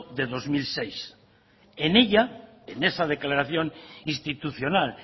de dos mil seis en ella en esa declaración institucional